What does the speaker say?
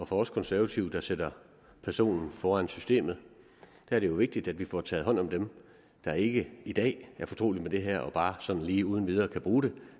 for os konservative der sætter personen foran systemet er det jo vigtigt at vi får taget hånd om dem der ikke i dag er fortrolige med det her og bare sådan lige uden videre kan bruge det